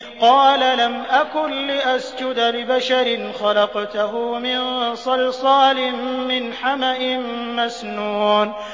قَالَ لَمْ أَكُن لِّأَسْجُدَ لِبَشَرٍ خَلَقْتَهُ مِن صَلْصَالٍ مِّنْ حَمَإٍ مَّسْنُونٍ